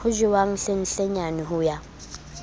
ho jewang hlenhlenyane ho ya